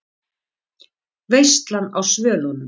VEISLAN Á SVÖLUNUM